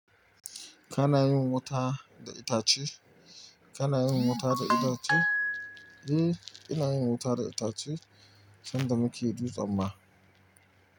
Kana yin wuta da itace? Kana yin wuta da itace? Eh, ina yin wuta da itace, sanda muke dutsen ma.